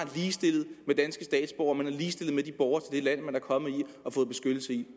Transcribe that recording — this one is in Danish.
ligestillet med danske statsborgere man er ligestillet med de borgere i dette land man er kommet til